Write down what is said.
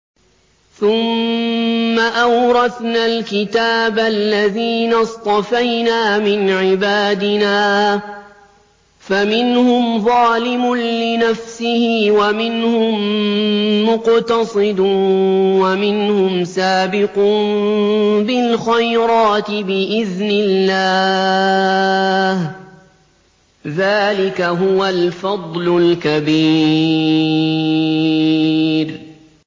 ثُمَّ أَوْرَثْنَا الْكِتَابَ الَّذِينَ اصْطَفَيْنَا مِنْ عِبَادِنَا ۖ فَمِنْهُمْ ظَالِمٌ لِّنَفْسِهِ وَمِنْهُم مُّقْتَصِدٌ وَمِنْهُمْ سَابِقٌ بِالْخَيْرَاتِ بِإِذْنِ اللَّهِ ۚ ذَٰلِكَ هُوَ الْفَضْلُ الْكَبِيرُ